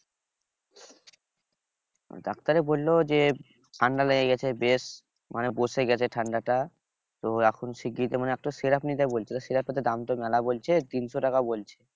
doctor এ বলল যে ঠান্ডা লেগে গেছে বেশ মানে বসে গেছে ঠান্ডাটা তো এখন শিগগিরই মানে একটা syrup নিতে বলছিল syrup এর তো দাম তো মেলা বলছে তিনশো টাকা বলছে